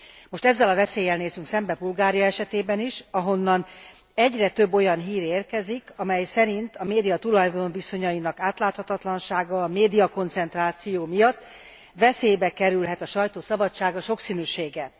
Most ezzel a veszéllyel nézzünk szembe Bulgária esetében is, ahonnan egyre több olyan hír érkezik, amely szerint a média tulajdonviszonyainak átláthatatlansága és a médiakoncentráció miatt veszélybe kerülhet a sajtó szabadsága, sokszínűsége.